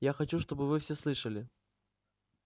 я хочу чтобы вы все слышали